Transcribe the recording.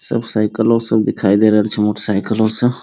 सब साइकिलो सब दिखाई दे रहल छै मोटरसाइकिलो सब --